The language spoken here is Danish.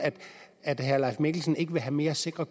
at herre leif mikkelsen ikke vil have mere sikre